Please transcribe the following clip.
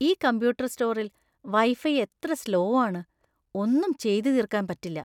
ഈ കമ്പ്യൂട്ടർ സ്റ്റോറിൽ വൈഫൈ എത്ര സ്ലോ ആണ്. ഒന്നും ചെയ്തു തീര്‍ക്കാന്‍ പറ്റില്ല.